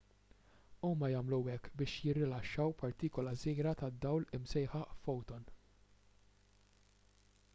huma jagħmlu hekk billi jirilaxxaw partikula żgħira tad-dawl imsejħa foton